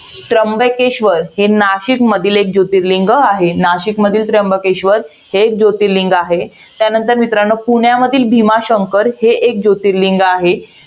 त्र्यंबकेश्वर, हे नाशिक मधील एक जोतिर्लिंग आहे. नाशिकमधील त्र्यंबकेश्वर हे एक जोतिर्लिंग आहे. त्यानंतर पुण्यामधील भीमाशंकर हे एक जोतिर्लिंग आहे.